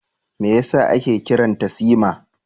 Me yasa ake kiran ta Sima?